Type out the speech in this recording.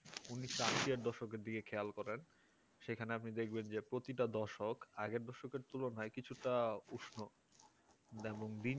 ঊনিশের দশকের দিকে খেয়াল করেন সেখানে আপনি দেখবেন প্রতিটি দশক আগের দশকের তুলনায় কিছুটা উষ্ণ যেমন দিন